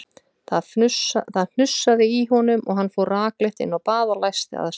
Það hnussaði í honum og hann fór rakleitt inn á bað og læsti að sér.